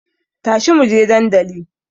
Tashi muje dandali